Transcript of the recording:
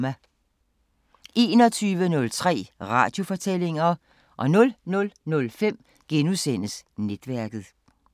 21:03: Radiofortællinger 00:05: Netværket *